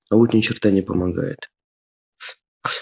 а вот ни черта не помогает